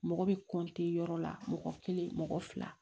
Mɔgɔ bɛ yɔrɔ la mɔgɔ kelen mɔgɔ fila